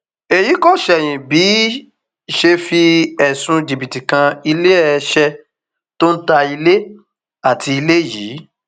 èyí kò ṣẹyìn bí ṣe fi ẹsùn jìbìtì kan iléeṣẹ tó ń ta ilé àti ilé yìí